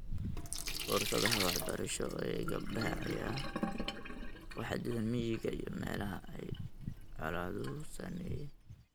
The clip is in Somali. Fursadaha waxbarasho ee gabdhaha ayaa ku xaddidan miyiga iyo meelaha ay colaaduhu saameeyeen.